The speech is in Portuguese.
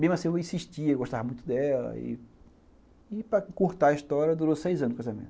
Mesmo assim, eu insistia, eu gostava muito dela e, para encurtar a história, durou seis anos o casamento.